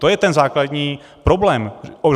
To je ten základní problém.